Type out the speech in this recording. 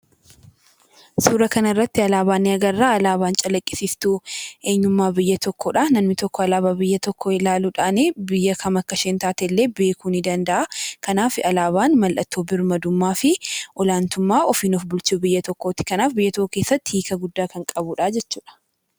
Suuraa kanarratti alaabaa ni agarra alaabaa calaqqisiistuu eenyummaa biyya tokkoodha. Namni tokko alaabaa biyya tokkoo ilaaluudhaan biyya kam akka taatellee beekuu ni danda'a. Kanaaf alaabaan mallattoo birmadummaa fi olaantummaa ofiin of bulchuu biyya tokkooti. Kanaaf biyya tokko keessatti hiika guddaa kan qabudha jechuudha.